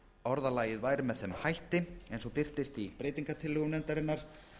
orðavalið væri með þeim hætti eins og birtist í breytingartillögum nefndarinnar